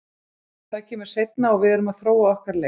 Það kemur seinna og við erum að þróa okkar leik.